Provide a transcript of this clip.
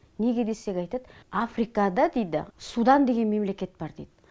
неге десек айтады африкада дейді судан деген мемлекет бар дейді